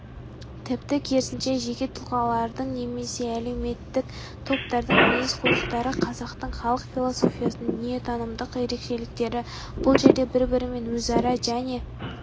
тіпті керісінше жеке тұлғалардың немесе әлеуметтік топтардың мінез-құлықтары қазақтың халық философиясының дүниетанымдық ерекшеліктері бұл жерде бір-бірімен өзара және